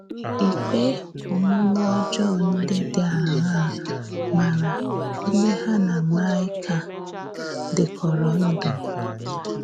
Ìkpè ọ̀múmè ọ́jọọ ǹdí dị àṅàà màrà ǹdí hà na Maịka dìkọ̀rọ̀ ndú?